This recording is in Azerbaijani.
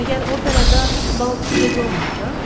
Məgər operada bal bu gecə olmayacaq?